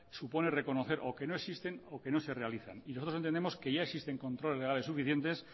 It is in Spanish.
supone reconocer o que no existen o que no se realizan y nosotros entendemos que ya existen controles legales suficientes